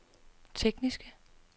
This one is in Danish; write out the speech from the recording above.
tekniske